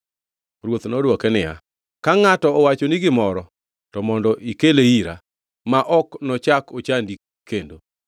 Ruoth nodwoke niya, “Ka ngʼato owachoni gimoro, to mondo ikele ira, ma ok nochak ochandi kendo.”